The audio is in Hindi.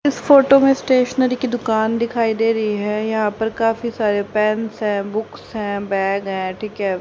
इस फोटो में स्टेशनरी की दुकान दिखाई दे रही है। यहां पर काफी सारे पेंस है बुक्स है बैग है ठीक है।